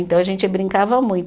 Então a gente brincava muito.